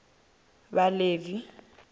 vhaḽevi